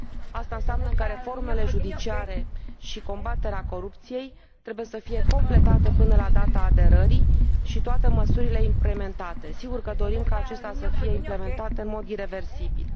Asta înseamnă că reformele judiciare și combaterea corupției trebuie să fie completate până la data aderării și toate măsurile implementate. Sigur că dorim ca acestea să fie implementate în mod ireversibil.